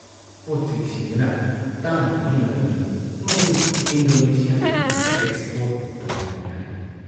ꯄꯣꯠꯆꯩꯁꯤꯡꯗꯨꯅ ꯇꯥꯡꯂꯤꯕꯒꯤ ꯃꯔꯝꯗꯤ ꯃꯗꯨ ꯏꯟꯗꯣꯅꯦꯁꯤꯌꯥꯗꯒꯤ ꯑꯦꯛꯁꯄꯣꯔꯠ ꯇꯧꯔꯛꯄꯅꯤ ꯍꯥꯏ ꯫